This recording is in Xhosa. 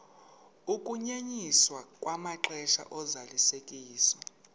ukunyenyiswa kwamaxesha ozalisekiso